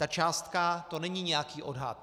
Ta částka, to není nějaký odhad.